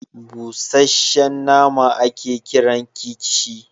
Busashen nama a ke kiran kikishi